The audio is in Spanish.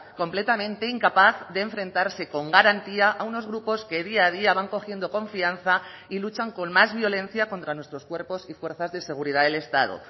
completamente incapaz de enfrentarse con garantía a unos grupos que día a día van cogiendo confianza y luchan con más violencia contra nuestros cuerpos y fuerzas de seguridad del estado